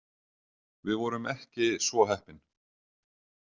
Við vorum ekki svo heppin.